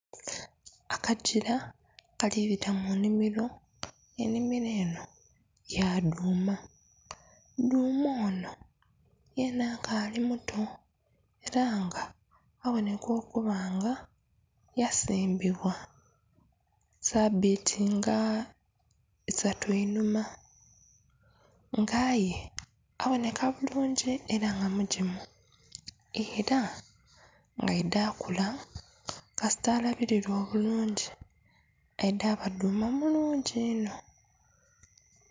Akagila akali bita mu nnhimiro, ennhimiro enho ya dhuuma, dhuuma onho yena akaali muto ela nga abonheka okuba nga yasimbibwa sabiiti nga isatu einhuma, nga aye abonheka bulungi ela nga mugimu, ela nga aidha kula, kasita alabililwa obulungi aidha ba dhuuma mulungi inho.